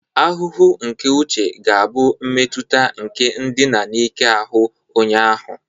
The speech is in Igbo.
Ahụhụ nke uche ga-abụ mmetụta nke ndina n'ike n'ahụ onye ahụ